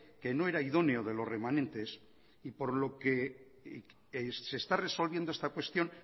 que no era idóneo de los remanentes y por lo que se está resolviendo esta cuestión